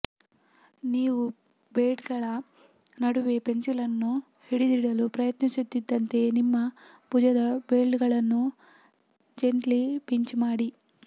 ನೀವು ಬ್ಲೇಡ್ಗಳ ನಡುವೆ ಪೆನ್ಸಿಲ್ ಅನ್ನು ಹಿಡಿದಿಡಲು ಪ್ರಯತ್ನಿಸುತ್ತಿದ್ದಂತೆಯೇ ನಿಮ್ಮ ಭುಜದ ಬ್ಲೇಡ್ಗಳನ್ನು ಜೆಂಟ್ಲಿ ಪಿಂಚ್ ಮಾಡಿ